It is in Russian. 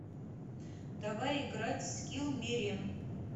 давай играть в скилл мерем